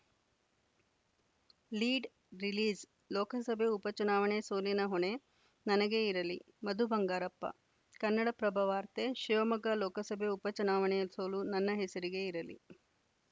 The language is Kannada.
ಲೀಡ್‌ರಿಲೀಜ್‌ ಲೋಕಸಭೆ ಉಪ ಚುನಾವಣೆ ಸೋಲಿನ ಹೊಣೆ ನನಗೇ ಇರಲಿ ಮಧು ಬಂಗಾರಪ್ಪ ಕನ್ನಡಪ್ರಭ ವಾರ್ತೆ ಶಿವಮೊಗ್ಗ ಲೋಕಸಭೆ ಉಪ ಚುನಾವಣೆಯ ಸೋಲು ನನ್ನ ಹೆಸರಿಗೆ ಇರಲಿ